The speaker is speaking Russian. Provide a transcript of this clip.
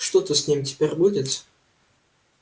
что-то с ним теперь будет